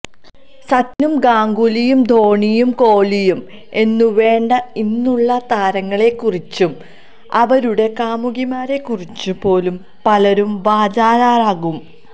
സച്ചിനും ഗാംഗുലിയു ധോണിയും കോഹ്ലിയും എന്നു വേണ്ട ഇന്നുള്ള താരങ്ങളെ കുറിച്ചും അവരുടെ കാമുകിമാരെ കുറിച്ചു പോലും പലരും വാചാലരാകും